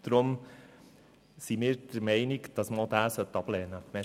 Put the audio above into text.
Deswegen sind wir der Meinung, dass man diesen Antrag ablehnen sollte.